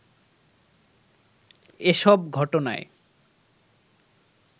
এসব ঘটনায়